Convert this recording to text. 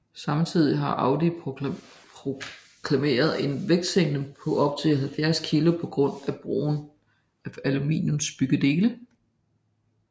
Samtidig har Audi proklameret en vægtsænkning på op til 70 kg på grund af brugen af aluminiumsbyggedele